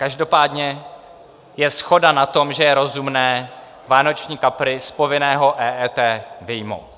Každopádně je shoda na tom, že je rozumné vánoční kapry z povinného EET vyjmout.